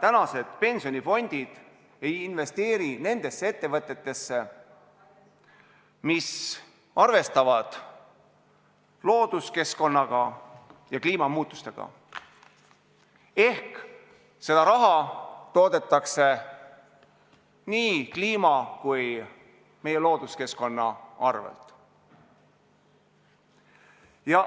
tänased pensionifondid ei investeeri nendesse ettevõtetesse, mis arvestaksid looduskeskkonna ja kliimamuutustega – ehk et seda raha kasvatatakse nii kliima kui ka meie looduskeskkonna arvel.